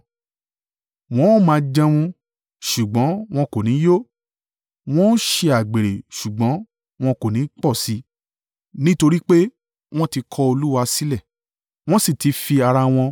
“Wọn ó máa jẹun ṣùgbọ́n wọn kò ní yó; wọn ó ṣe àgbèrè ṣùgbọ́n, wọn kò ni pọ̀ sí i, nítorí pé wọ́n ti kọ Olúwa sílẹ̀, wọ́n sì ti fi ara wọn